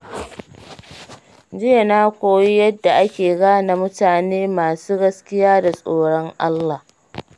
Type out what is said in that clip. Jiya na koyi yadda ake gane mutane masu gaskiya da tsoron Allah.